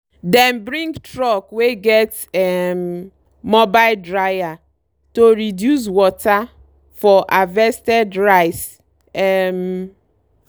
dem bring truck wey get um mobile dryer to reduce water for harvested rice. um